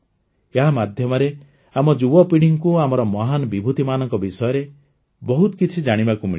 ଏହା ମାଧ୍ୟମରେ ଆମ ଯୁବପୀଢ଼ୀକୁ ଆମର ମହାନ ବିଭୂତିମାନଙ୍କ ବିଷୟରେ ବହୁତ କିଛି ଜାଣିବାକୁ ମିଳିଲା